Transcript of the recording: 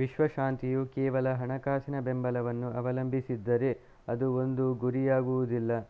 ವಿಶ್ವ ಶಾಂತಿಯು ಕೇವಲ ಹಣಕಾಸಿನ ಬೆಂಬಲವನ್ನು ಅವಲಂಬಿಸಿದ್ದರೆ ಅದು ಒಂದು ಗುರಿಯಾಗುವುದಿಲ್ಲ